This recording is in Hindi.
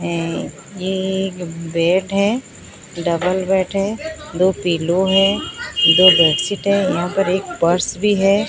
ये एक बेड हैं डबल बेड हैं दो पिलो हैं दो बेडशीट हैं यहां पर एक पर्स भी हैं।